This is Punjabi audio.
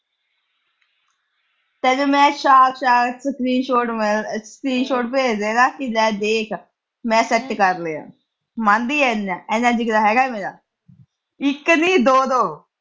ਚਲ ਮੈਂ ਚਾਅ-ਚਾਅ ਚ screen short ਅਹ screen short ਭੇਜ ਦੇਏਗਾ ਕਿ ਲੈ ਦੇਖ, ਮੈਂ set ਕਰ ਲਿਆ। ਮੰਨਦੀ ਆ ਇਹ ਚੀਜਾਂ, ਇਡਾ ਜਿਗਰਾਂ ਹੈਗਾ ਮੇਰਾ। ਇੱਕ ਨੀ ਦੋ-ਦੋ।